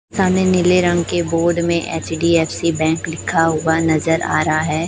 सामने नीले रंग जा के बोर्ड में एच_डी_एफ_सी बैंक लिखा हुआ नजर आ रहा है।